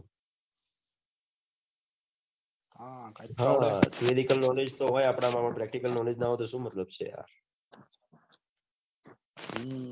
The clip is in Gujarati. હા સીનીકલ knowledge હોય પન practical knowledge ના હોય તો શું મતલબ છે